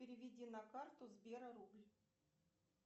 переведи на карту сбера рубль